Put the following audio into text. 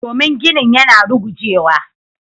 Domin ginin yana rugujewa.